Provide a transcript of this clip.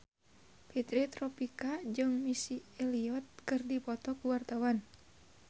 Fitri Tropika jeung Missy Elliott keur dipoto ku wartawan